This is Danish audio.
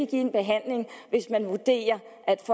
give en behandling hvis man vurderer